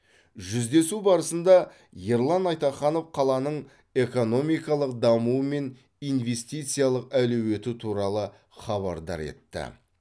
жүздесу барысында ерлан айтаханов қаланың экономикалық дамуы мен инвестициялық әлеуеті туралы хабардар етті